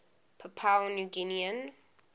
papua new guinean